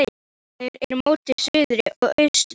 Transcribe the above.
Svalir eru móti suðri og austri.